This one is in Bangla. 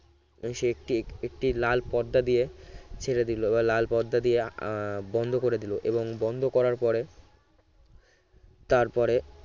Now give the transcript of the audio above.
সে একটি একটি লাল পর্দা দিয়ে ছেড়ে দিল বা লাল পর্দা দিয়ে আহ বন্ধ করে দিল এবং বন্ধ করার পরে তারপরে